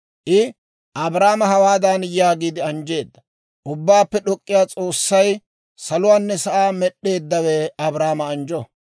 I Abraama hawaadan yaagiide anjjeedda; «Ubbaappe D'ok'k'iyaa S'oossay, saluwaanne sa'aa med'd'eeddawe Abraama anjjo.